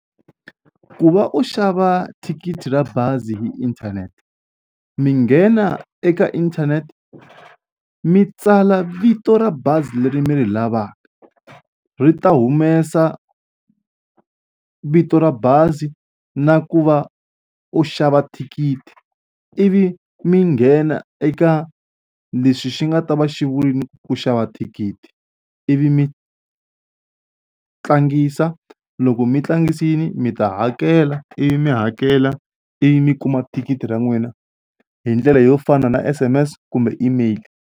Ku va u xava thikithi ra bazi hi inthanete mi nghena eka inthanete mi tsala vito ra bazi leri mi ri lavaka ri ta humesa vito ra bazi na ku va u xava thikithi ivi mi nghena eka leswi xi nga ta va xi vurile ku xava thikithi ivi mi tlangisa loko mi tlangisile mi ta hakela ivi mi hakela ivi mi kuma thikithi ra n'wina hi ndlela yo fana na S_M_S kumbe email.